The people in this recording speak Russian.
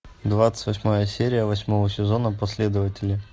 двадцать восьмая серия восьмого сезона последователи